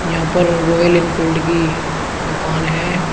यहां पर Royal Enfield की दुकान है।